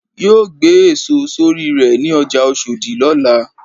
yóò gbé èso sorí rè ní ọjà oshodi lọ́la.